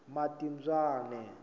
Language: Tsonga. matibyana